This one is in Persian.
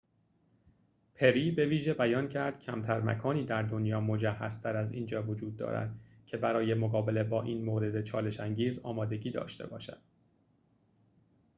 پری بویژه بیان کرد کمتر مکانی در دنیا مجهزتر از اینجا وجود دارد که برای مقابله با این مورد چالش‌انگیز آمادگی داشته باشد